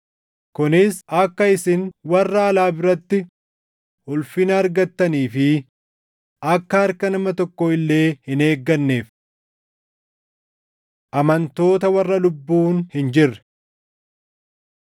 kunis akka isin warra alaa biratti ulfina argattanii fi akka harka nama tokko illee hin eegganneef. Amantoota Warra Lubbuun Hin jirre